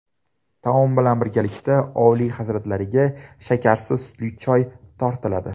Taom bilan birgalikda Oliy hazratlariga shakarsiz sutli choy tortiladi.